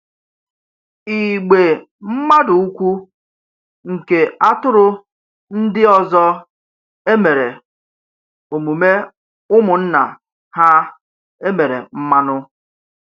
Ìgbè mmadụ ukwu nke atụrụ ndị ọzọ emèrè omume ụmụnna ha e mere mmanụ.